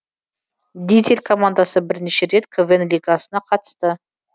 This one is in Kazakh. дизель командасы бірнеше рет квн лигасына қатысты